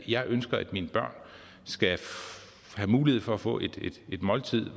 jeg ønsker at mine børn skal have mulighed for at få et måltid